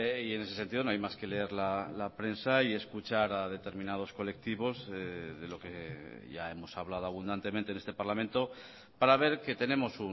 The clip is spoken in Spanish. y en ese sentido no hay más que leer la prensa y escuchar a determinados colectivos de lo que ya hemos hablado abundantemente en este parlamento para ver que tenemos